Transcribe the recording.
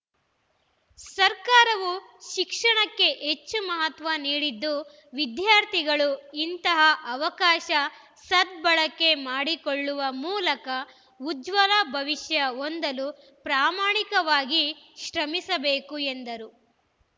ಸರ್ಕಾರವು ಶಿಕ್ಷಣಕ್ಕೆ ಹೆಚ್ಚು ಮಹತ್ವ ನೀಡಿದ್ದು ವಿದ್ಯಾರ್ಥಿಗಳು ಇಂತಹ ಅವಕಾಶ ಸದ್ಭಳಕೆ ಮಾಡಿಕೊಳ್ಳುವ ಮೂಲಕ ಉಜ್ವಲ ಭವಿಷ್ಯ ಹೊಂದಲು ಪ್ರಾಮಾಣಿಕವಾಗಿ ಶ್ರಮಿಸಬೇಕು ಎಂದರು